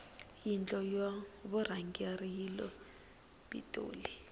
yindlo ya vurhangeri yile pitoli